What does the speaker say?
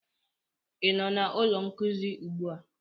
ị nọ na ụlọ nkuzi ugbu a?